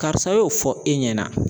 Karisa y'o fɔ e ɲɛna.